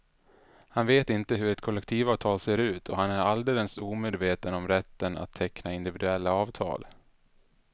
Han vet inte hur ett kollektivavtal ser ut och han är alldeles omedveten om rätten att teckna individuella avtal.